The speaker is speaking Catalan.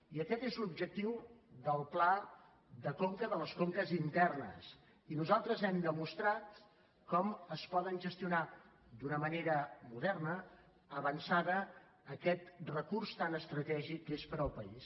i aquest és l’objectiu del pla de conca de les conques internes i nosaltres hem demostrat com es pot gestionar d’una manera moderna avançada aquest recurs tan estratègic que és per al país